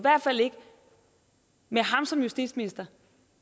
med ham som justitsminister